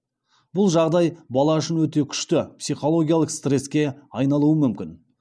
бұл жағдай бала үшін өте күшті психологиялық стресске айналуы мүмкін